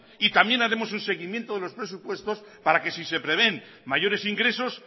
y también haremos un seguimiento de los presupuestos para que si se prevén mayores ingresos